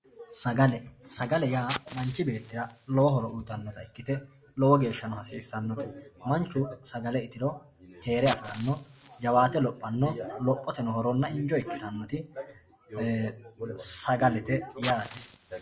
sagale sagale yaa manchi beettira lowo horo uyiitannota ikkite lowo geeshhsano hasiissannpote manchu sagale itiro keere afiranno jawaate lophanno lophoteno injo ikkitannoti sagalete yaate.